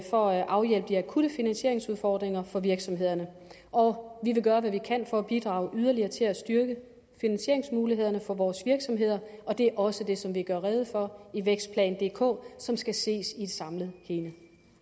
for at afhjælpe de akutte finansieringsudfordringer for virksomhederne og vi vil gøre hvad vi kan for at bidrage yderligere til at styrke finansieringsmulighederne for vores virksomheder det er også det som vi gør rede for i vækstplan dk som skal ses i et samlet hele